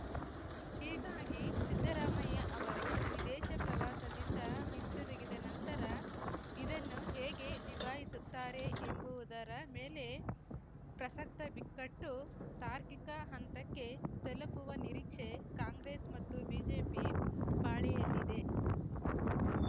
ಹೀಗಾಗಿ ಸಿದ್ದರಾಮಯ್ಯ ಅವರು ವಿದೇಶ ಪ್ರವಾಸದಿಂದ ಹಿಂದಿರುಗಿದ ನಂತರ ಇದನ್ನು ಹೇಗೆ ನಿಭಾಯಿಸುತ್ತಾರೆ ಎಂಬುವುದರ ಮೇಲೆ ಪ್ರಸಕ್ತ ಬಿಕ್ಕಟ್ಟು ತಾರ್ಕಿಕ ಹಂತಕ್ಕೆ ತಲುಪುವ ನಿರೀಕ್ಷೆ ಕಾಂಗ್ರೆಸ್‌ ಮತ್ತು ಬಿಜೆಪಿ ಪಾಳೆಯಲ್ಲಿದೆ